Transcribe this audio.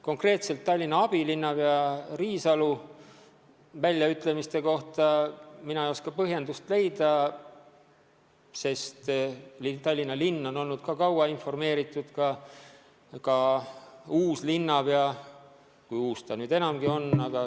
Konkreetselt Tallinna abilinnapea Riisalu väljaütlemiste põhjendust ma ei tea, aga Tallinna linn on asjast kaua informeeritud olnud, samuti uus linnapea – või kui uus ta nüüd enam ongi.